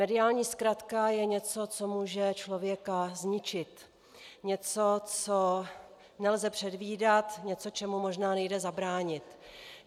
Mediální zkratka je něco, co může člověka zničit, něco, co nelze předvídat, něco, čemu možná nejde zabránit.